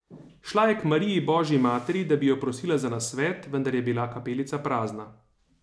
Šla je k Mariji božji materi, da bi jo prosila za nasvet, vendar je bila kapelica prazna.